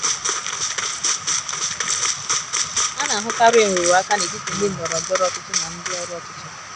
A na - ahụkarị nrụrụ aka n’etiti ndị ndọrọ ndọrọ ọchịchị na ndị ọrụ ọchịchị.